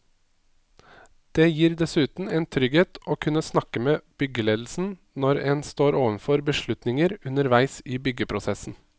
Det gir dessuten en trygghet å kunne snakke med byggeledelsen når en står overfor beslutninger underveis i byggeprosessen.